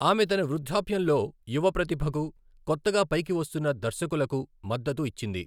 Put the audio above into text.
ఆమె తన వృద్ధాప్యంలో యువ ప్రతిభకు, కొత్తగా పైకి వస్తున్న దర్శకులకు మద్దతు ఇచ్చింది.